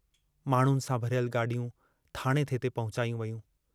माण्हुनि सां भरियल गाॾियूं थाणे ते थे पहुचायूं वेयूं।